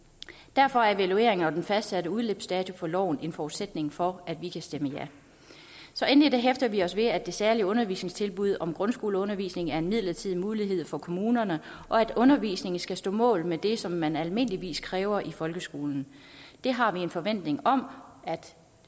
derfor er evalueringen og den fastsatte udløbsdato for loven en forudsætning for at vi kan stemme ja endelig hæfter vi os ved at det særlige undervisningstilbud om grundskoleundervisning er en midlertidig mulighed for kommunerne og at undervisningen skal stå mål med det som man almindeligvis kræver i folkeskolen det har vi en forventning om at